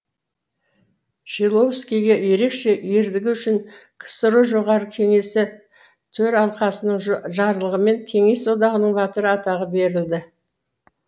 шиловскийге ерекше ерлігі үшін ксро жоғары кеңесі төралқасының жарлығымен кеңес одағының батыры атағы берілді